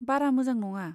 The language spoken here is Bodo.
बारा मोजां नङा।